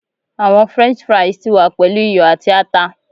Awọn french fries ti wa pelu iyọ ati ata